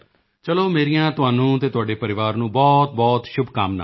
ਚਲੋ ਮੇਰੀਆਂ ਤੁਹਾਨੂੰ ਅਤੇ ਤੁਹਾਡੇ ਪਰਿਵਾਰ ਨੂੰ ਬਹੁਤਬਹੁਤ ਸ਼ੁਭਕਾਮਨਾਵਾਂ ਨੇ